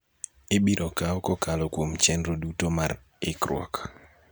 ibiro kawo kokalo kuom chenro duto mar ikruok.